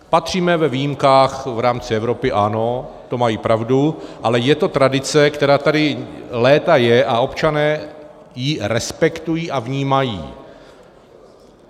Patříme k výjimkách v rámci Evropy, ano, to mají pravdu, ale je to tradice, která tady léta je, a občané ji respektují a vnímají.